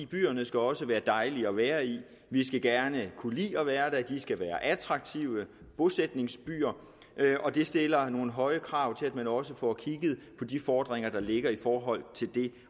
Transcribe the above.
byerne skal også være dejlige at være i vi skal gerne kunne lide at være der de skal være attraktive bosætningsbyer og det stiller nogle høje krav til at man også får kigget på de fordringer der ligger i forhold til det